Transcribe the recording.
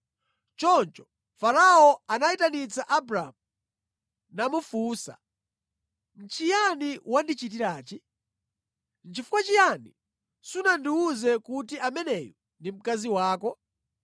Choncho Farao anayitanitsa Abramu namufunsa kuti, “Nʼchiyani wandichitirachi? Nʼchifukwa chiyani sunandiwuze kuti ameneyu ndi mkazi wako?